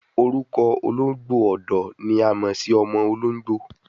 Orukọ ologbo ọdọ ni a mọ si ọmọ ologbo